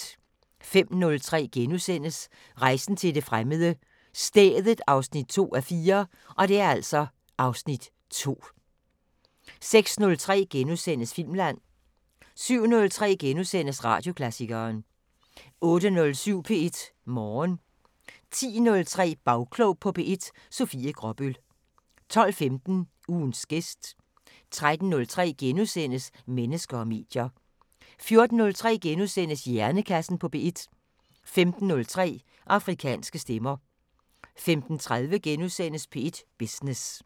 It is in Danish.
05:03: Rejsen til det fremmede: Stedet 2:4 (Afs. 2)* 06:03: Filmland * 07:03: Radioklassikeren * 08:07: P1 Morgen 10:03: Bagklog på P1: Sofie Gråbøl 12:15: Ugens gæst 13:03: Mennesker og medier * 14:03: Hjernekassen på P1 * 15:03: Afrikanske Stemmer 15:30: P1 Business *